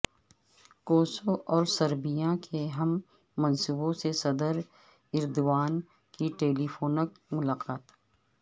Kosovo اور Serbia کے ہم منصبوں سے صدر ایردوان کی ٹیلی فونک ملاقات